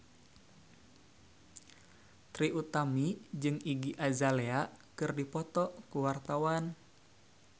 Trie Utami jeung Iggy Azalea keur dipoto ku wartawan